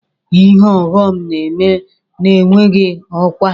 Ihe ọghọm na-eme na-enweghị ọkwa.